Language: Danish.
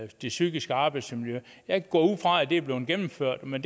det psykiske arbejdsmiljø jeg går ud fra at det er blevet gennemført men